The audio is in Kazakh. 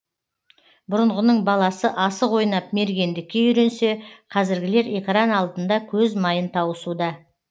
бұрынғының баласы асық ойнап мергендікке үйренсе қазіргілер экран алдында көз майын таусуда